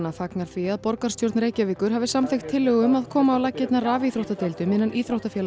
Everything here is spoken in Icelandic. fagnar því að borgarstjórn Reykjavíkur hafi samþykkt tillögu um að koma á laggirnar rafíþróttadeildum innan íþróttafélaga